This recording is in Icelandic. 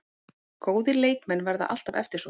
Góðir leikmenn verða alltaf eftirsóttir